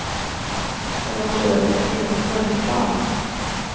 Men hon tror att det kan finnas ett mörkertal.